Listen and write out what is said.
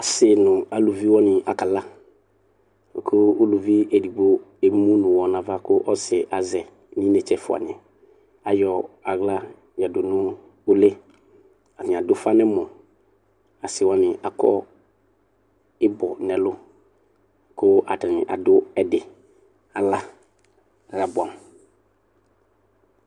asi nʋ alʋviwani akala kʋ ʋlʋvi edigbo emʋnʋ ʋwɔ nʋ ava kʋ ɔsiɛ azɛ nʋ entse ɛƒʋaniyɛ ayɔ aɣla yadʋ nʋ ʋli atani adʋ ʋƒa nʋ ɛmɔ asiwani akɔ ibɔ nɛlʋ kʋ atani adʋ ɛdi ala abʋɛamʋ